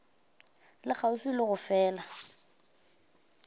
le kgauswi le go fela